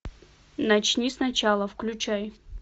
начни сначала включай